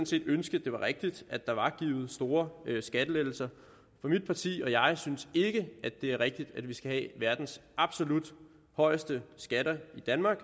set ønske det var rigtigt at der var givet store skattelettelser for mit parti og jeg synes ikke det er rigtigt at vi skal have verdens absolut højeste skatter i danmark